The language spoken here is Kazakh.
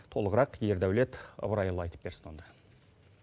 толығырақ ердәулет ыбырайұлы айтып берсін онда